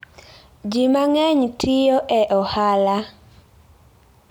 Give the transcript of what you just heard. Ji mang'eny tiyo e ohala.